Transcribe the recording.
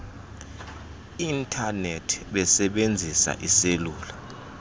intanethi besebenzisa iiselula